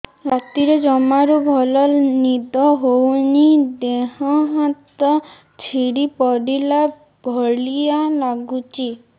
ରାତିରେ ଜମାରୁ ଭଲ ନିଦ ହଉନି ଦେହ ହାତ ଛିଡି ପଡିଲା ଭଳିଆ ଲାଗୁଚି